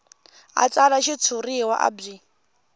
a tsala xitshuriwa a byi